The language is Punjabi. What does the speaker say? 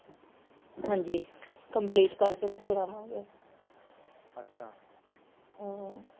ਹਾਂਜੀ complete ਕਰਕੇ ਤੇ ਫੇਰ ਆਵਾਂਗੇ ਅੱਛਾ ਅਹ